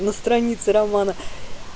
на странице романа